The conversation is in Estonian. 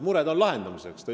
Mured on lahendamiseks!